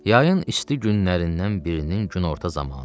Yayın isti günlərindən birinin günorta zamanı idi.